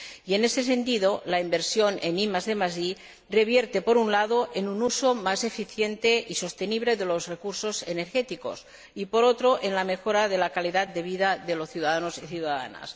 Y, en ese sentido, la inversión en IDi revierte, por un lado, en un uso más eficiente y sostenible de los recursos energéticos y, por otro, en la mejora de la calidad de vida de los ciudadanos y ciudadanas.